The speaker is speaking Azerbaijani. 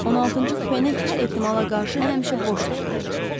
16-cı kupeni hər ehtimala qarşı həmişə boş saxlayırıq.